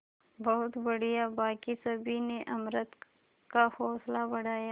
बहुत बढ़िया बाकी सभी ने अमृता का हौसला बढ़ाया